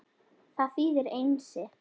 Það þýðir Einsi.